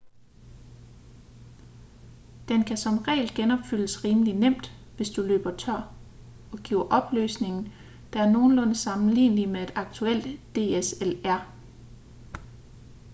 den kan som regel genopfyldes rimelig nemt hvis du løber tør og giver opløsning der er nogenlunde sammenlignelig med et aktuelt dslr